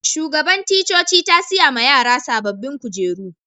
Shugaban ticcoci ta siya ma yaran sabobin kujeru.